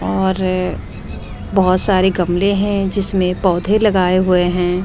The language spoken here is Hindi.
और बहुत सारे गमले हैं जिसमें पौधे लगाए हुए हैं।